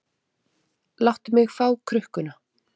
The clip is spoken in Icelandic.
Láttu mig fá krukkuna.